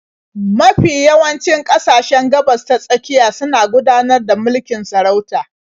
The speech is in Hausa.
Mafi yawancin ƙasashen Gabas-ta-tsakiya suna gudanar da mulkin sarauta.